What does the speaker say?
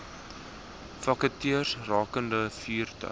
vakatures rakende vaardige